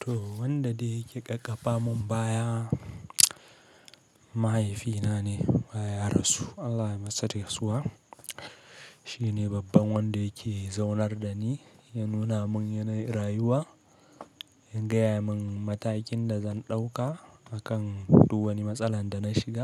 To wanda da yake ƙaƙapa mun baya mahaifina ne baya rasu. Allah ya masa rasuwa. Shi ne babban wanda yake zaunar da ni, ya nuna mun yanayin rayuwa, ya gaya mun matakin da zan ɗauka akan kowane matsalan da na shiga